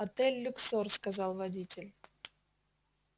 отель люксор сказал водитель